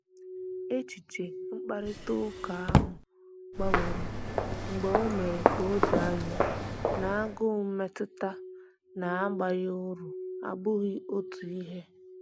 Echiche mkparịta ụka ahụ gbanwere mgbe o mere ka o doo anya na agụụ mmetụta na abaghị uru abughị otu ihe